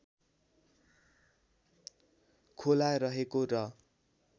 खोला रहेको र